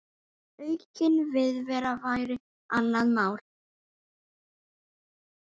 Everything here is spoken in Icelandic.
Aukin viðvera væri annað mál.